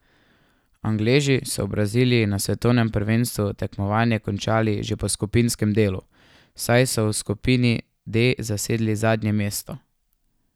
Angleži so v Braziliji na svetovnem prvenstvu tekmovanje končali že po skupinskem delu, saj so v skupini D zasedli zadnje mesto.